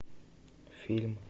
фильм